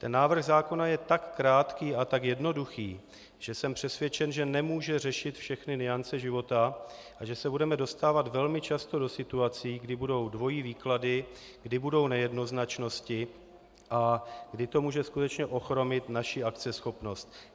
Ten návrh zákona je tak krátký a tak jednoduchý, že jsem přesvědčen, že nemůže řešit všechny nuance života a že se budeme dostávat velmi často do situací, kdy budou dvojí výklady, kdy budou nejednoznačnosti a kdy to může skutečně ochromit naši akceschopnost.